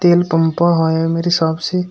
तेल पंपा है मेरे हिसाब से।